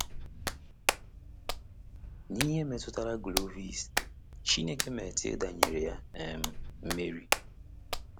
N’ihe metụtara Clovis, Chineke Clotilda nyere ya um mmeri.